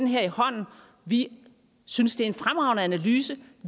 her i hånden vi synes det er en fremragende analyse